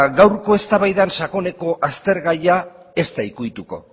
gaurko eztabaidan sakoneko aztergaia ez da ukituko